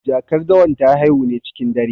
Jakar dawan ta haihu ne cikin dare.